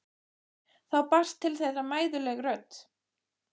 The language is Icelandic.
Þá barst til þeirra mæðuleg rödd